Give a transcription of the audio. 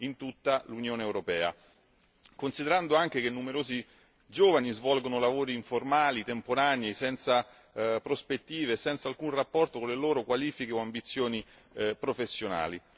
in tutta l'Unione europea, considerato anche che numerosi giovani svolgono lavori informali, temporanei, senza prospettive, senza alcun rapporto con le loro qualifiche o ambizioni professionali.